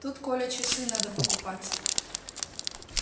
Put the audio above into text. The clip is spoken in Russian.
тут коля часы надо покупать